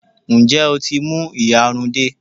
Ǹjẹ́ o tí mú ìyarun dé?